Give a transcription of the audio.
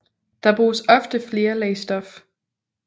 Der bruges ofte flere lag stof